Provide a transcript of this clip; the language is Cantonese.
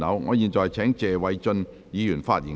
我現在請謝偉俊議員發言及動議議案。